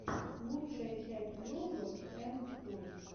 лучшая часть левы энд тойс